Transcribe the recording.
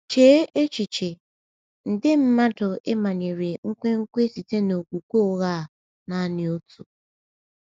Chee echiche — nde mmadụ e manyere nkwenkwe site n’okwukwe ụgha a naanị otu!